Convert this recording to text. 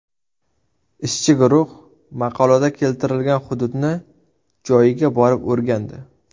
Ishchi guruh maqolada keltirilgan hududni joyiga borib o‘rgandi.